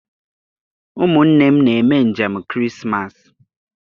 Ụmụnne m na-eme njem Krismas.